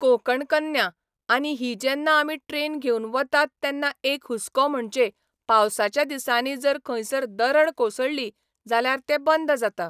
कोंकण कन्या, आनी ही जेन्ना आमी ट्रॅन घेवन वतात तेन्ना एक हुस्को म्हणचे पावसाच्या दिसांनी जर खंयसर दरड कोसळ्ळी जाल्यार ते बंद जाता.